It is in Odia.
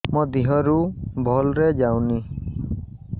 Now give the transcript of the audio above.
ମୋ ଦିହରୁ ଭଲରେ ଯାଉନି